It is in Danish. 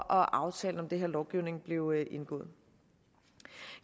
aftalen om den her lovgivning blev indgået